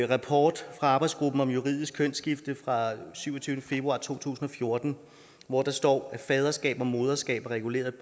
rapport fra arbejdsgruppen om juridisk kønsskifte fra syvogtyvende februar to tusind og fjorten hvor der står at faderskab og moderskab er reguleret